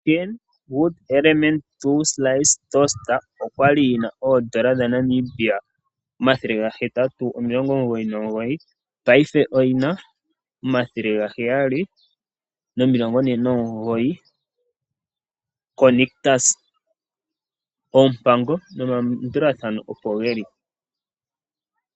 Kenwood Elementa 2 Slice Toaster okwali yina oondola dha Namibia omathele gahetatu, omilongo omugoyinomugoyi. Paife oyina omathele gaheyali nomilongo ne nomugoyi koNictus, oompango nomalandulathano opo geli.